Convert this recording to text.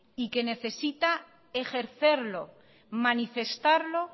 y que necesita ejercerlo manifestarlo